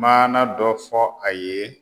Maana dɔ fɔ a ye